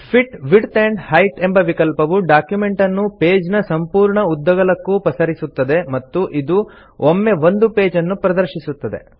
fit width and height ಎಂಬ ವಿಕಲ್ಪವು document ಅನ್ನು ಪೇಜ್ ನ ಸಂಪೂರ್ಣ ಉದ್ದಗಲಕ್ಕೂ ಪಸರಿಸುತ್ತದೆ ಮತ್ತು ಇದು ಒಮ್ಮೆ ಒಂದು ಪೇಜ್ ಅನ್ನು ಪ್ರದರ್ಶಿಸುತ್ತದೆ